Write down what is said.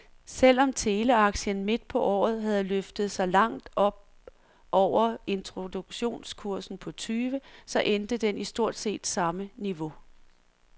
Selv om teleaktien midt på året havde løftet sig langt op over introduktionskursen på tyve , så endte den i stort set samme niveau.